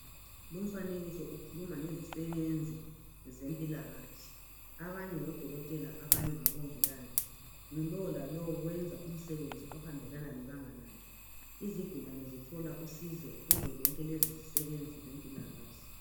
Lumfanekiso ukhuluma ngezisebenzi zempilakahle. Abanye ngodokotela, abanye ngabongikazi. Ngulowo lalowu wenza umsebenzi ohambelana lebanga lakhe. Izigulane zithola usizo kuzo zonke lezi zisebenzi zempilakahle.